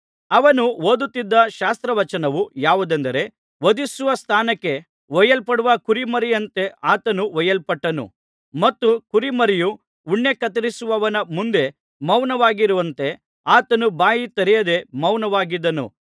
ಅವನು ಓದುತ್ತಿದ್ದ ಶಾಸ್ತ್ರವಚನವು ಯಾವುದೆಂದರೆ ವಧಿಸುವಸ್ಥಾನಕ್ಕೆ ಒಯ್ಯಲ್ಪಡುವ ಕುರಿಮರಿಯಂತೆ ಆತನು ಒಯ್ಯಲ್ಪಟ್ಟನು ಮತ್ತು ಕುರಿಮರಿಯು ಉಣ್ಣೆ ಕತ್ತರಿಸುವವನ ಮುಂದೆ ಮೌನವಾಗಿರುವಂತೆ ಆತನು ಬಾಯಿ ತೆರೆಯದೆ ಮೌನವಾಗಿದ್ದನು